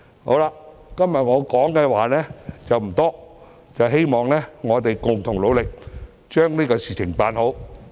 我今天的發言內容不多，希望大家共同努力把事情辦好。